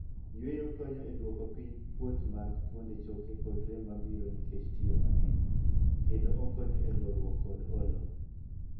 Yueyo konyo e duoko piny kuot mag fuonde choke kod rem mabiro nikech tich mangeny, kendo okonyo e goruok kod olo.